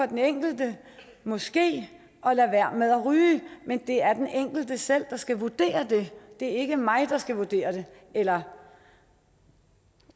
den enkelte måske at lade være med at ryge men det er den enkelte selv der skal vurdere det det ikke mig der skal vurdere det eller